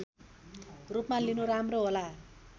रूपमा लिनु राम्रो होला